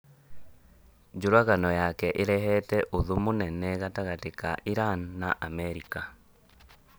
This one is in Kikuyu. Njũragano yake ĩrehete ũthũ mũnene gatagatĩ ka Iran na Amerika